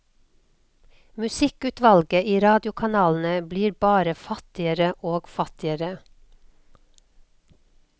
Musikkutvalget i radiokanalene blir bare fattigere og fattigere.